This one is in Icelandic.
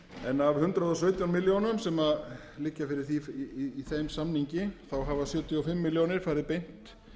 en hundrað og sautján milljónir sem liggja fyrir í þeim samningi hafa sjötíu og fimm milljónir farið beint